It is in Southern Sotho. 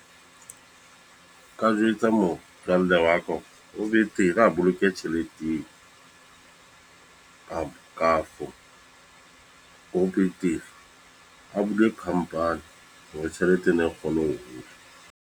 Nka jwetsa motswalle wa ka hore ho betere a boloke tjhelete eo. Kapa, kafo ho betere a bule company, hore tjhelete ena e kgone ho hola.